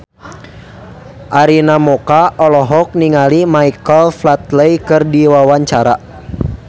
Arina Mocca olohok ningali Michael Flatley keur diwawancara